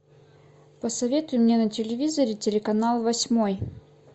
посоветуй мне на телевизоре телеканал восьмой